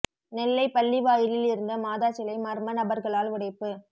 நெல்லை பள்ளி வாயிலில் இருந்த மாதா சிலை மா்ம நபா்களால் உடைப்பு